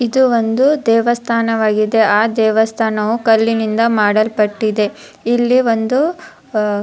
ಇದು ಒಂದು ದೇವಸ್ಥಾನವಗಿದೆ ಆ ದೇವಸ್ಥಾನವು ಕಲ್ಲಿನಿಂದ ಮಾಡಲ್ಪಟ್ಟಿದೆ ಇಲ್ಲಿ ಒಂದು ಅ --